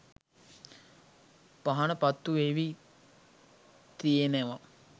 පහන පත්තු වෙවී තියෙනවා.